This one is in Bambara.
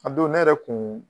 A don ne yɛrɛ kun